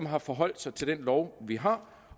har forholdt sig til den lov vi har